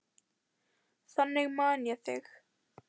Þannig man ég þig.